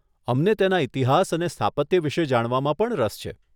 અમને તેના ઇતિહાસ અને સ્થાપત્ય વિશે જાણવામાં પણ રસ છે.